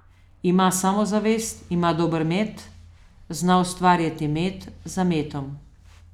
Ima samozavest, ima dober met, zna ustvarjati met za metom ...